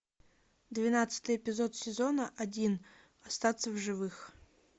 двенадцатый эпизод сезона один остаться в живых